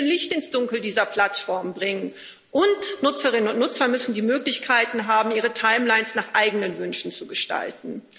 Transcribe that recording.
Wir müssen hier Licht ins Dunkel dieser Plattformen bringen, und Nutzerinnen und Nutzer müssen die Möglichkeiten haben, ihre Timelines nach eigenen Wünschen zu gestalten.